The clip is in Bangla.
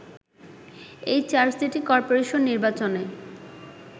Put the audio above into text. এই চার সিটি কর্পোরেশন নির্বাচনে